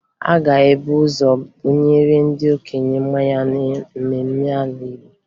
A ga-ebu ụzọ bunye ndị okenye mmanya na mmemme ala Igbo